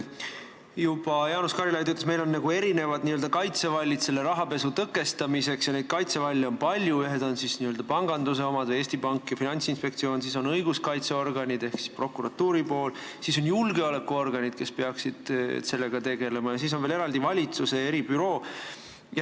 Juba Jaanus Karilaid ütles, et meil on nagu erinevad kaitsevallid rahapesu tõkestamiseks ja neid kaitsevalle on palju, ühed on n-ö panganduse omad , sellega on seotud õiguskaitseorganid ehk prokuratuuri pool, siis on julgeolekuorganid, kes peaksid sellega tegelema, ja siis on veel eraldi valitsuse eribüroo.